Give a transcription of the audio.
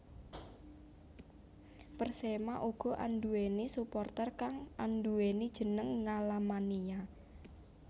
Persema uga anduwèni supporter kang anduwèni jeneng Ngalamania